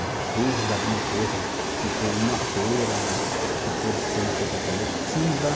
Às vezes alguma coisa, tipo uma feira, que pode ser uma coisa coletiva.